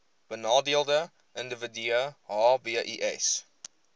benadeelde individue hbis